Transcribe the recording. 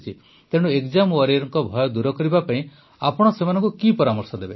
ତେଣୁ ଏକଜାମ ୱାରିୟରଙ୍କ ଭୟ ଦୂର କରିବା ପାଇଁ ଆପଣ ସେମାନଙ୍କୁ କି ପରାମର୍ଶ ଦେବେ